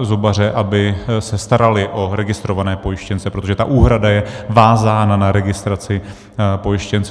zubaře, aby se starali o registrované pojištěnce, protože ta úhrada je vázána na registraci pojištěnců.